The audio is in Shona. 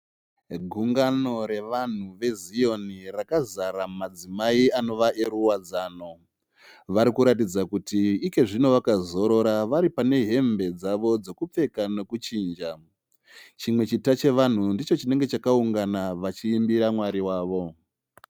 Gungano revanhu ve Zioni rakazara madzimai anova eruwadzano . Varikuratidza Kuti Iko zvino vakazorora varipane hembe dzavo dzekupfeka nekuchinja. Chimwe chita chevanhu ndicho chinenge chakaungana vachiimbira Mwari wavo.